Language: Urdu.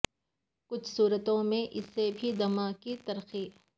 کچھ صورتوں میں اس سے بھی دمہ کی ترقی